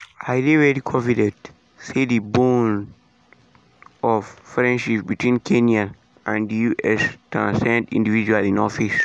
"i dey very confident say di bones of friendship between kenya and di us transcend individuals in office" in office" e tok.